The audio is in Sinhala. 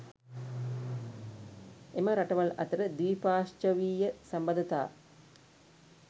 එම රටවල් අතර ද්විපාර්ශ්වීය සබඳතා